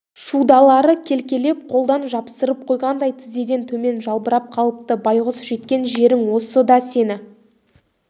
шудалары келекелеп қолдан жапсырып қойғандай тізеден төмен жалбырап қалыпты байғұс жеткен жерің осы да сені